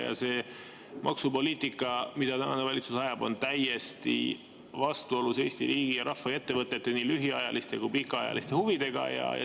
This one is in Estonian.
Ja see maksupoliitika, mida tänane valitsus ajab, on täiesti vastuolus Eesti riigi ja rahva ja ettevõtete nii lühiajaliste kui pikaajaliste huvidega.